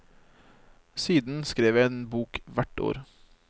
Siden skrev jeg en bok hvert år.